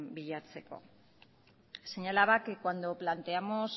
bilatzeko señalaba que cuando planteamos